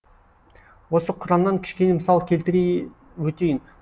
осы құраннан кішкене мысал келтіре өтейін